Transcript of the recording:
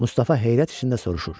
Mustafa heyrət içində soruşur: